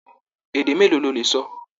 Èdè mélòó ló lè sọ?